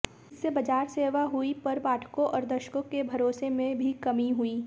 इससे बाजार सेवा हुई पर पाठकों और दर्शकों के भरोसे में भी कमी हुई